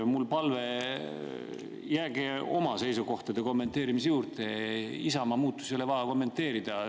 Mul on palve: jääge oma seisukohtade kommenteerimise juurde, Isamaa muutusi ei ole vaja kommenteerida.